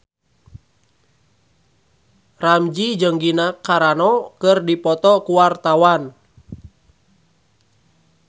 Ramzy jeung Gina Carano keur dipoto ku wartawan